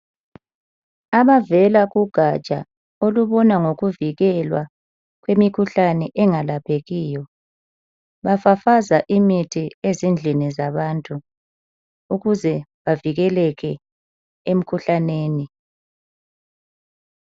Abavela kugaja ababona ngokukhangela imikhuhlane engalaphekiyo bafafaza imithi ezindlini zabantu ukuze bavikeleke emikhuhlaneni